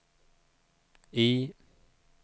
I